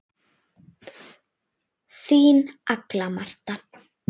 Þín Agla Marta.